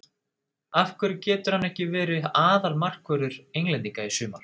Af hverju getur hann ekki verið aðalmarkvörður englendinga í sumar?